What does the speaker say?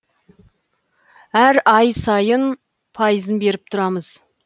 әр ай сайын пайызын беріп тұрамыз